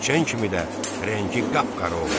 İçən kimi də rəngi qapqara oldu.